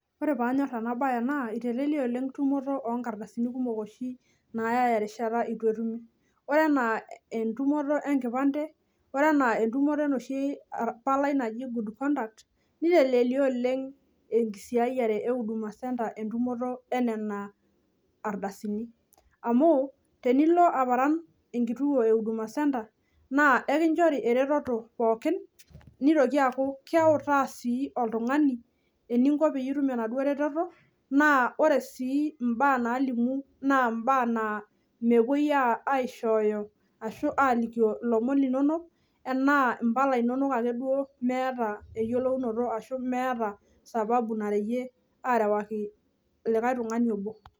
Ore panyor enasiai naa iteleyia oleng tumoto onkardasini oshi naya erishata itu etumi ,ore enaa entumoto enkipande , ore enaa entumoto enoshi palai naji good conduct , nitelelia oleng enkisiayiare ehuduma centre entumoto enena ardasini amu tenilo aparan enkituo ehuduma centre naa enkichori ereteto pookin nitoki aaku keutaa sii oltungani eninko pitum enaduo reteto naa ore imbaa nalimu naa mepuoi aishoyo ashu alimu ilomon linonok.